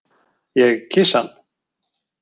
Ég kyssi hann.